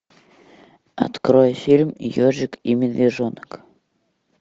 открой фильм ежик и медвежонок